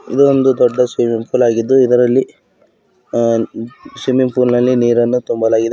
ಇದೊಂದು ದೊಡ್ಡ swimming pool ಆಗಿದ್ದು ಇದರಲ್ಲಿ ಅ ಸ್ವಿಮ್ಮಿಂಗ್ ಪೂಲ್ ನಲ್ಲಿ ನೀರನ್ನು ತುಂಬಲಾಗಿದೆ.